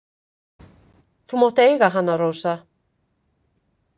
Þú mátt eiga hana, Rósa.